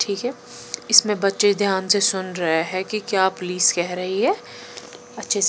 ठीक है इसमें बच्चे ध्यान से सुन रहे हैं कि क्या पुलिस कह रही है? अच्छे से।